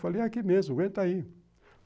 Falei, é aqui mesmo, aguenta aí.